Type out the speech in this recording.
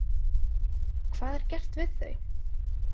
Hvað er gert við þau?